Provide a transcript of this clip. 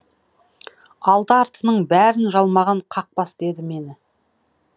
алды артының бәрін жалмаған қақбас деді мені